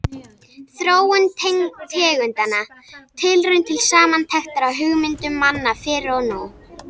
Þróun tegundanna: Tilraun til samantektar á hugmyndum manna fyrr og nú.